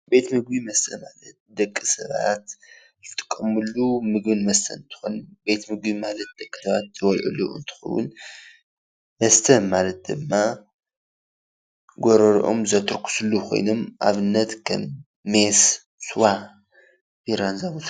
ቤት ምግብን መስተን ማለት ደቂ ሰባት ዝጥቀምሉ ቤት ምግብን ማለት ደቂ ሰባት ዝበልዕሉ እንትከዉን መስተ ማለት ድማ ጎረረኦም ዘተርክስሉ ኮይኑኣብነት ሜስ፣ ስዋ ፣ቢራ እንትኩን፡፡